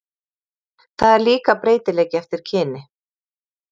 Það er líka breytileiki eftir kyni.